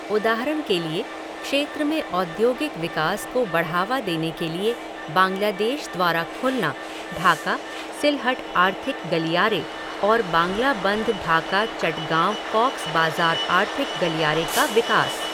उदाहरण के लिए, क्षेत्र में औद्योगिक विकास को बढ़ावा देने के लिए बांग्लादेश द्वारा खुलना ढाका सिलहट आर्थिक गलियारे और बांग्लाबंध ढाका चटगाँव कॉक्स बाजार आर्थिक गलियारे का विकास।